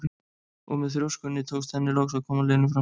Og með þrjóskunni tókst henni loks að koma Lenu fram úr.